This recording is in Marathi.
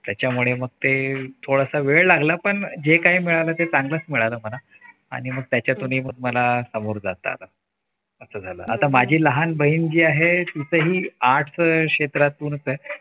त्याच्यामुळे मग ते थोडासा वेळ लागला पण जे काय मिळालं ते चांगलंच मिळालं मला आणि मग त्याच्यातूनही मला सामोरं जात आलं असं झालं आता माझी लहान बहीण जी आहे तिचही arts क्षेत्रात